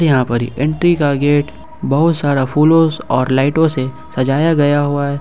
यहां पर ये एंट्री का गेट बहुत सारा फुलोज और लाइटों से सजाया गया हुआ है।